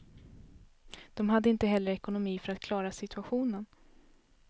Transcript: De hade inte heller ekonomi för att klara situationen.